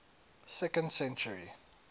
second century